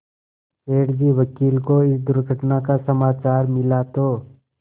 सेठ जी वकील को इस दुर्घटना का समाचार मिला तो